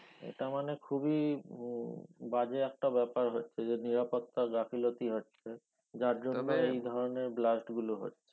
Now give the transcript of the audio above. এটা মানে খুবি উম বাজে একটা ব্যাপার হচ্ছে এই যে নিরাপত্তা গাফিলোতি হচ্ছে যার জন্য এই ধরনের blast গুলো হচ্ছে